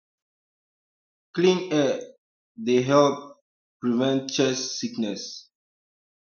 clean air um dey help um prevent chest sickness